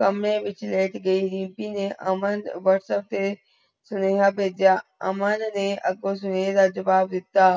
ਖਮਬੇ ਵਿਚ ਲੈਟ ਗਈ ਰੀਮਪੀ ਨੇ ਅਮਨ whatsapp ਤੇ ਰੇਹਾ ਬੇਹੇਜਿਯਾ ਅਮਨ ਨੇ ਅਗੇ ਰੇਹ ਦਾ ਜਵਾਬ ਦਿਤਾ